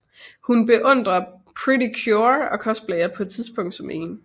Hun beundrer Pretty Cure og cosplayer på et tidspunkt som en